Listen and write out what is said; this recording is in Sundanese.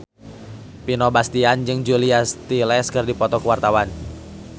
Vino Bastian jeung Julia Stiles keur dipoto ku wartawan